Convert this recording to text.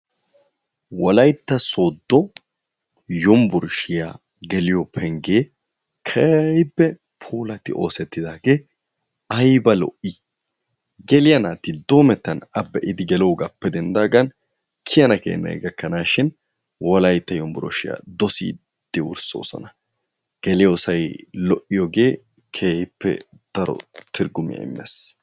Wolaytta soodfo yunburshiya geliyobpenggee keehipoe puulatti oosettidaagee ayiba lo7ii geliya naat doomettan a be7idi geloogaappe denddaagan kiyana keenayi gakkanaashshin wolaytta yunburshshiya dosiiddi wurssoosona. Geliyoosayi lo7iyoogee keehippe daro turggumiya immes.